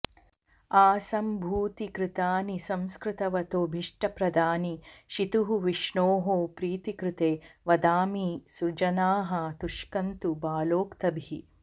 आसम्भूतिकृतानि संस्कृतवतोभीष्टप्रदानीशितुः विष्णोः प्रीतिकृते वदामि सुजनाः तुष्कन्तु बालोक्तभिः